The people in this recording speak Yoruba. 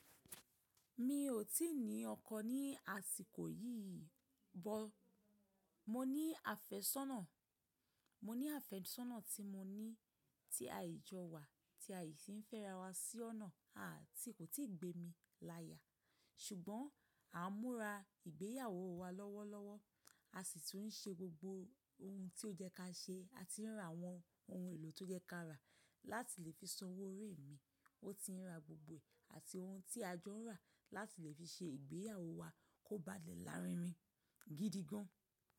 Mi ò tí ì ní ọkọ ní àsìkò yìí bọ́, mo ní àfẹ́sọ́nà, mo ní àfẹ́sọ́nà tí mo ní tí aìjọ wa tí aìsí ń fẹ́ra wa sí ọ̀nà a ti kò tí ì gbẹ́ mi láyà. Ṣùgbọ́n à ń múra ìgbéyàwó wa lọ́wọ́lọ́wọ́, a sì tún ń ṣe gbogbo ohun tí ó jẹ́ ká ṣe, a ti ń ra àwọn ohun èlò tó jẹ́ ká rà láti lè fi sanwó orí mi, ó ti ń ra gbogbo è àti ohun tí ajọ nrà láti lè fi ṣe ìgbéyàwó wa kó bá lè lárinrin gidi gan.